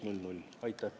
Aitäh!